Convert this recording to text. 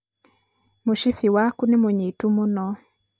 mũcibi waku nĩ mũnyitu mũno.